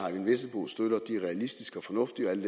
realistiske og fornuftige og alle